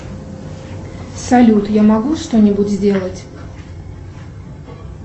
салют я могу что нибудь сделать